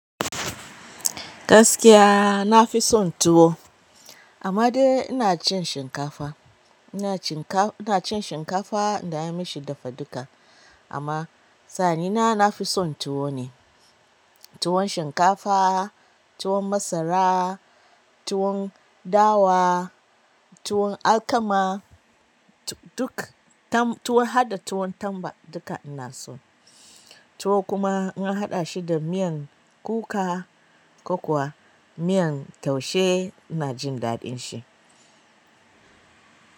Gaskiya na fi son tuwo amma dai ina cin shinkafa. Ina cinkaina cin shinkafa idan an mishi dafaduka amma sani na, na fi son tuwo ne. Tuwon shinkafa, tuwon masara, tuwon dawa, tuwon alkama duk tam-- tuwon, har da tuwon tamba duka ina so. Tuwo kuma in a haɗa shi da miyan kuka ko kuwa miyan taushe ina jin daɗin shi.